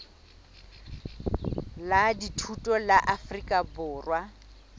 la dithuto la afrika borwa